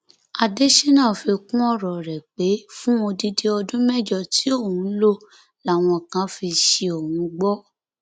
adésínà fi kún ọrọ rẹ pé fún odidi ọdún mẹjọ tí òun lò làwọn kan fi ṣí òun gbọ